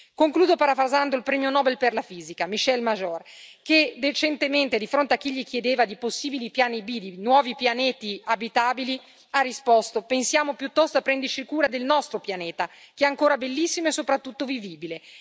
Concludo parafrasando il premio Nobel per la fisica Michel Mayor, che recentemente, di fronte a chi gli chiedeva di possibili piani B di nuovi pianeti abitabili, ha risposto pensiamo piuttosto a prenderci cura del nostro pianeta che è ancora bellissimo e soprattutto vivibile.